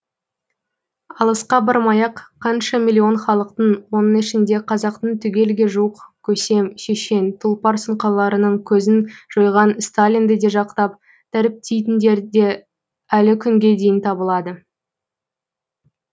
алысқа бармай ақ қаншама миллион халықтың оның ішінде қазақтың түгелге жуық көсем шешен тұлпар сұңқарларының көзін жойған сталинді де жақтап дәріптейтіндер әлі күнге дейін табылады